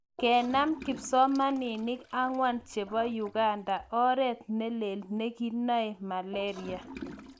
Kenem kipsomaninik angwan chepo Uganda oreet neleel neginoe Malaria.